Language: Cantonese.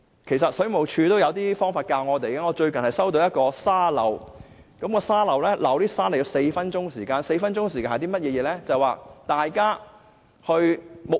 事實上，水務署也有教導我們一些方法，我最近收到一個沙漏，是4分鐘的沙漏 ，4 分鐘是甚麼概念呢？